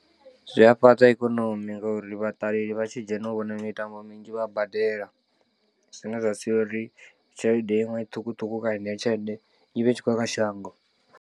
Zwi a fhaṱa ikonomi ngauri vhaṱaleli vha tshi dzhena u vhona mitambo minzhi vha badela, zwine zwa sia uri tshelede iṅwe ṱhukhuṱhukhu kana heneyo tshelede i vhe i tshi khou ya kha shango.